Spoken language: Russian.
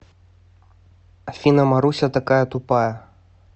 афина маруся такая тупая